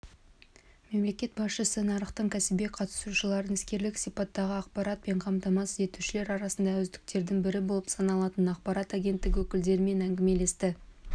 мемлекет басшысы нарықтың кәсіби қатысушыларын іскерлік сипаттағы ақпаратпен қамтамасыз етушілер арасындағы үздіктердің бірі болып саналатын ақпарат агенттігі өкілдерімен әңгімелесті